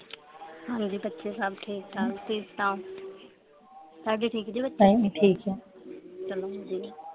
ਹਾਂਜੀ ਬੱਚੇ ਸਬ ਠੀਕ ਆ ਠੀਕ ਚਲੋ ਵਧੀਆ